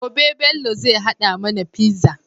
Gobe Bello zai hada mAna pizza